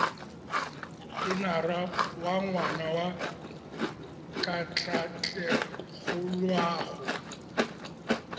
enara wa ngwana wa katlaatlegoloago